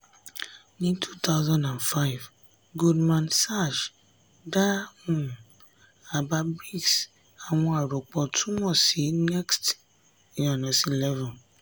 ní 2005 goldman sachs dá um àbá bric àwọn arọ́pọ̀ tún mọ̀ sí next-11.